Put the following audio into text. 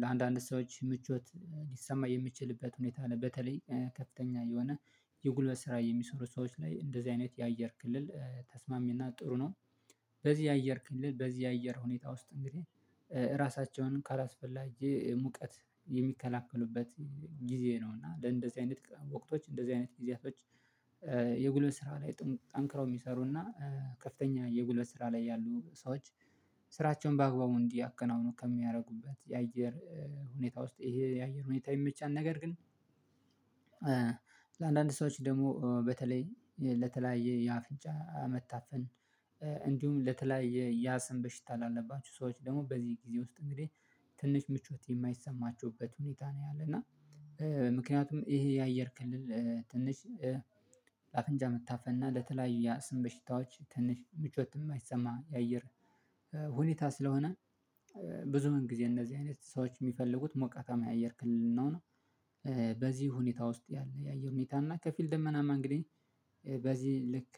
ለአንዳንድ ሰዎች ምቾት ሊሰማ የሚችልበት ሁኔታ በተለይ ከፍተኛ የሆነ የጉልበት ስራ የሚሰሩ ሰዎች ላይ እንደዚህ አይነት የአየር ክልል ተስማሚና ጥሩ ነው። በዚህ የአየር ክልል በዚህ አየር ሁኔታ ውስጥ እንግዲህ ራሳቸውን ካላስፈላጊ ሙቀት የሚከላከሉበት ጊዜ ነው እና እንደዚህ አይነት ወቅቶች እንደዚህ አይነት ጊዜያቶች። የጉልበት ስራ ላይ ጠንክረው የሚሰሩና ከፍተኛ የጉልበት ስራ ላይ ያሉ ሰዎች ስራቸውን በአግባቡ እንዲያከናውኑ ከሚያደርጉበት የአየር ሁኔታ ውስጥ ይሄ የአየር ሁኔታ ይመቻል። ነገር ግን። ለአንዳንድ ሰዎች ደግሞ በተለይ ለተለያየ ያ አፍንጫ አመታፈን። እንዲሁም ለተለያየ ያስም በሽታ አላለባችሁ ሰዎች ደግሞ በዚህ ጊዜ ውስጥ እንግዲህ ትንሽ ምቾት የማይሰማችሁበት ሁኔታ ነው ያለ እና። ምክንያቱም ይሄ የአየር ክልል ትንሽ ለአፍንጫ መታፈን እና ለተለያዩ የአስም በሽታዎች ትንሽ ምቾት እማይሰማ የአየር ሁኔታ ስለሆነ ብዙ ምን ጊዜ እነዚህ አይነት ሰዎች የሚፈልጉት ሞቃታማ የአየር ክልል ነው። በዚህ ሁኔታ ውስጥ ያለ የአየር ሁኔታ እና ከፊል ደመናማ እንግዲህ በዚህ ልክ